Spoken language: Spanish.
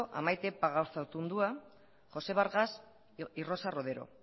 a maite pagazartaundua josé vargas y rosa rodero